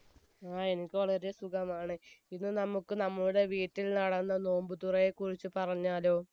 ആ എനിക്ക് വളരെ സുഖമാണ് ഇന്ന് നമ്മുക് നമ്മുടെ വീട്ടിൽ നടന്ന നോമ്പ്തുറയെ കുറിച്ച് പറഞ്ഞാലോ